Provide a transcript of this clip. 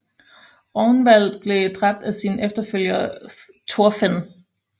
Rognvald blev dræbt af sin efterfølger Thorfinn